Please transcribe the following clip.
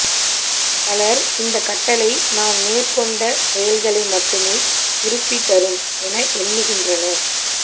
பலர் இந்த கட்டளை நாம் மேற்கொண்ட செயல்களை மட்டுமே திருப்பித் தரும் என எண்ணுகின்றனர்